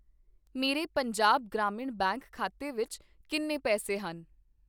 ਮੇਰੇ ਪੰਜਾਬ ਗ੍ਰਾਮੀਣ ਬੈਂਕ ਖਾਤੇ ਵਿੱਚ ਕਿੰਨੇ ਪੈਸੇ ਹਨ?